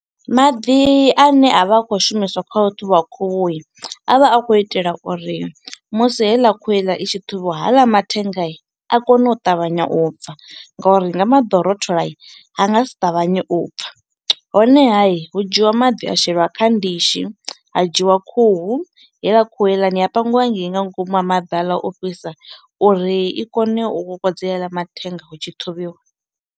Maḓi a ne a vha a khou shumiswa khau ṱhuvha khuhu i a vha a khou itela uri musi heiḽa khuhu heiḽa i tshi ṱhuvhiwa haḽa mathenga i a kone u ṱavhanya u bva ngori nga maḓi rotholai a nga si ṱavhanye u bva honehai hu dzhiwa maḓi a shelwa kha ndishi ha dzhiwa khuhu heiḽa khuhu heiḽani ya pangiwa hangei nga ngomu ha maḓi haḽa o fhisa uri i kone u kokodzela mathenga hutshi ṱhuvhiwa.